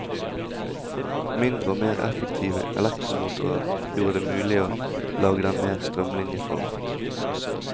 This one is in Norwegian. Mindre og mer effektive elektromotorer gjorde det mulig å lage dem mer strømlinjeformet.